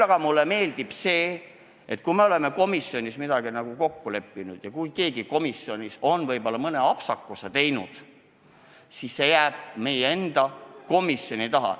Samas mulle meeldib see, et me oleme komisjonis kokku leppinud, et kui keegi komisjonis on mõne apsakuse teinud, siis see jääb meie komisjoni ukse taha.